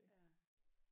Ja